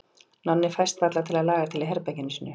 Nonni fæst varla til að laga til í herberginu sínu.